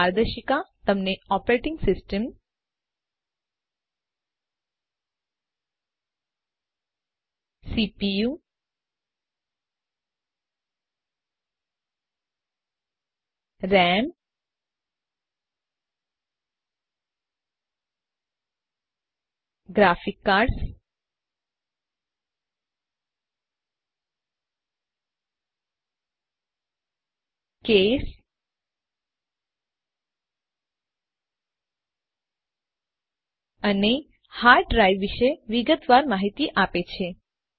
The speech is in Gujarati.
આ માર્ગદર્શિકા તમને operating system CPU RAM graphics card case અને હાર્ડ ડ્રાઇવ વિશે વિગતવાર માહિતી આપે છે